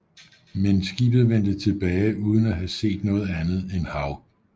Men skibet vendte tilbage uden at have set noget andet end hav